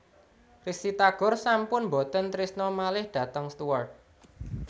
Risty Tagor sampun mboten trisno malih dhateng Stuart